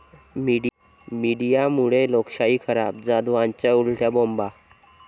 मीडियामुळे लोकशाही खराब, जाधवांच्या उलट्या बोंबा!